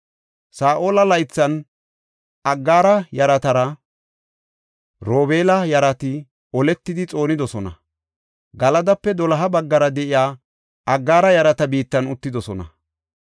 Saa7ola laythan Aggaara yaratara Robeela yarati oletidi xoonidosona. Galadape doloha baggara de7iya Aggaara yarata biittan uttidosona.